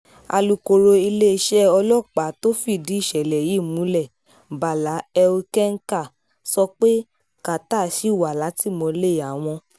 alukoro iléeṣẹ́ ọlọ́pàá tó fìdí ìṣẹ̀lẹ̀ yìí múlẹ̀ bàlà elkenkà sọ pé carter ṣì wà látìmọ́lé àwọn